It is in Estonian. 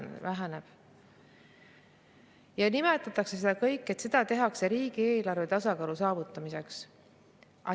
Ja selle kõige kohta, et seda tehakse riigieelarve tasakaalu saavutamiseks.